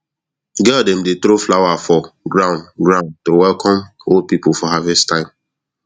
girl dem dey throw flower for ground ground to welcome old people for harvest time